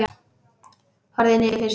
Horfði niður fyrir sig.